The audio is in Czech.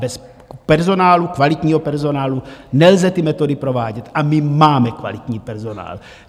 Bez personálu, kvalitního personálu, nelze ty metody provádět, a my máme kvalitní personál.